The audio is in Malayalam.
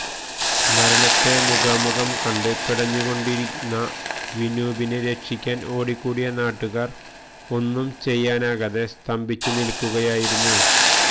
മരണത്തെ മുഖാമുഖം കണ്ട് പിടഞ്ഞുകൊണ്ടിരുന്ന വിനൂപിനെ രക്ഷിക്കാന് ഓടിക്കൂടിയ നാട്ടുകാര് ഒന്നും ചെയ്യാനാകാതെ സ്തംഭിച്ചുനില്ക്കുകയായിരുന്നു